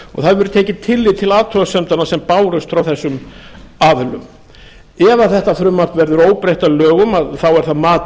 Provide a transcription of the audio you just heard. hefur verið tekið tillit til athugasemdanna sem bárust frá þessum aðilum ef þetta frumvarp verður óbreytt að lögum þá er það mat